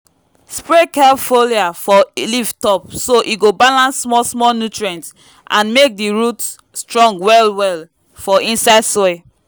spray kelp foliar for leaf-top so e go balance small-small nutrients and make di root strong well-well for inside soil.